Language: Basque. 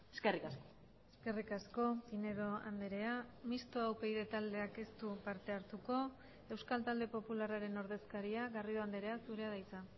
eskerrik asko eskerrik asko pinedo andrea mistoa upyd taldeak ez du parte hartuko euskal talde popularraren ordezkaria garrido andrea zurea da hitza